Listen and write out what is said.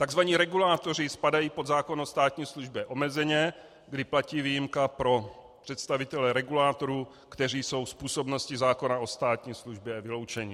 Takzvaní regulátoři spadají pod zákon o státní službě omezeně, kdy platí výjimka pro představitele regulátorů, kteří jsou z působnosti zákona o státní službě vyloučeni.